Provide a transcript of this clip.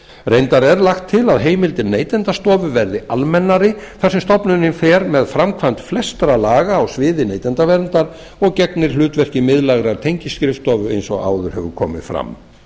reyndar er lagt til að heimildir neytendastofu verði almennari þar sem stofnunin fer með framkvæmd flestra laga á sviði neytendaverndar og gegnir hlutverki miðlægrar tengiskrifstofu eins og áður hefur komið fram